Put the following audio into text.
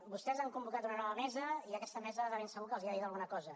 vostès han convocat una nova mesa i aquesta mesa de ben segur que els ha dit alguna cosa